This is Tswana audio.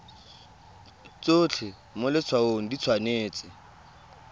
tsotlhe mo letshwaong di tshwanetse